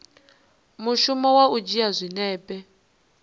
mushumo wa u dzhia zwinepe